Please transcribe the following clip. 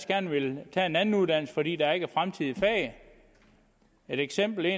gerne vil tage en anden uddannelse fordi der ikke er fremtid i faget et eksempel